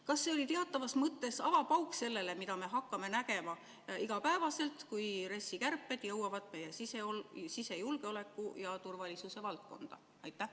Kas see oli teatavas mõttes avapauk sellele, mida me hakkame nägema igapäevaselt, kui RES-i kärped jõuavad meie sisejulgeoleku ja turvalisuse valdkonda?